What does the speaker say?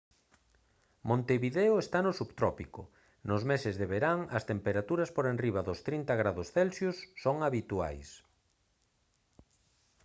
montevideo está no subtrópico; nos meses de verán as temperaturas por enriba dos +30 °c son habituais